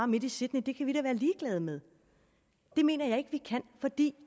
midt i sydney og det kan vi da være ligeglade med det mener jeg ikke vi kan fordi